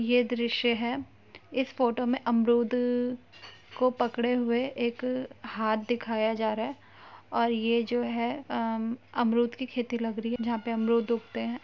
यह दृश्य है इस फोटो में अमरूद को पकड़े हुए एक हाथ दिखाया जा रहा है और ये जो है अ अमम अमरूद की खेती लग रही है जहाँ पर अमरूद उगते हैं।